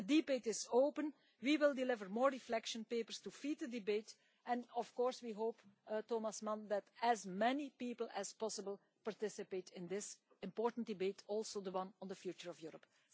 So the debate is open and we will deliver more reflection papers to feed the debate and of course we hope, Thomas Mann, that as many people as possible participate in this important debate, and in the one on the future of Europe.